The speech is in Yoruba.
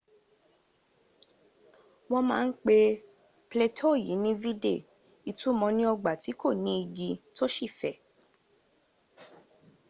wọ́n ma ń pé plateau yìí ní vidde” ìtumọ̀ ní ọgbà tí kò ní igi tó sì fẹ̀